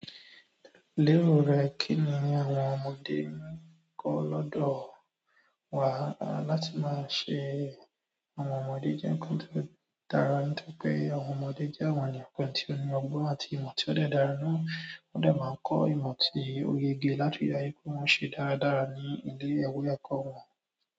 Lérò rẹ kí ni àwọn ọmọdé ń kọ́ lọ́dọ̀ wà láti máa se àwọn ọmọdé jẹ nǹkan tó dára. Nítorí pé àwọn ọmọdé jẹ́ àwọn ènìyàn kan tí oní ọgbọ́n àti ìmọ̀ tí ó dẹ̀ dára náà ó dẹ̀ máa ń kọ́ ìmọ̀ tí ó yege láti dáhùn pé wọ́n ṣe dáradára ní ilé-ẹ̀kọ́ wọn.